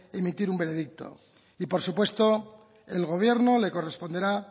emitir un veredicto y por supuesto el gobierno le corresponderá